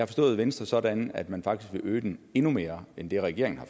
forstået venstre sådan at man faktisk vil øge den endnu mere end det regeringen har